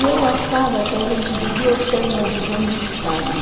E eu achava que a gente devia ter uma visão de Estado.